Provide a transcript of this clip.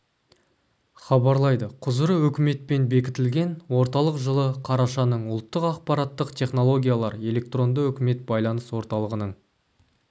хабарлайды құзыры үкіметпен бекітілген орталық жылы қарашаның ұлттық ақпараттық технологиялар электронды үкімет байланыс орталығының